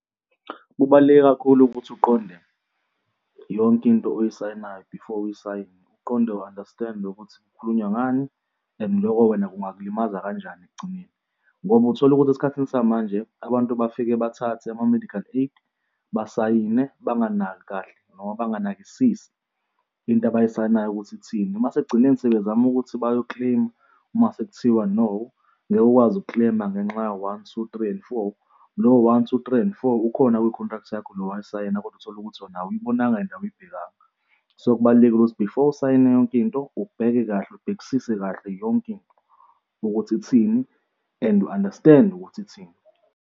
Kubaluleke kakhulu ukuthi uqonde yonke into oyisayinayo before uyisayine, uqonde u-understand-e ukuthi kukhulunywa ngani and loko wena kungakulimaza kanjani ekugcineni. Ngoba uthola ukuthi esikhathini samanje abantu bafike bathathe ama-medical aid basayine banganaki kahle noma banganakisisi into abayisayinayo ukuthi ithina, mase ekugcineni sebezama ukuthi bayo-claim-a masekuthiwa no ngeke ukwazi uku-claim-a ngenxa ya-one, two, three, and four, lowo-one, two, three, and four ukhona kwi-contract yakho le owayisayina kodwa uthole ukuthi wena awuyibonanga and awuyibhekanga. So, kubalulekile ukuthi before usayine yonke into ubheke kahle, ubhekisise kahle yonke into ukuthi ithini and u-understand-e ukuthi ithini.